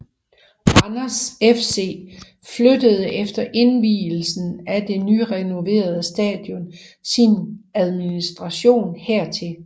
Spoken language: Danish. Randers FC flyttede efter invielsen af det nyrenoverede stadion sin administration hertil